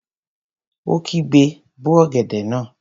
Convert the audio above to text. Ó kígbe, 'bó ọ̀gẹ̀dẹ̀ náà!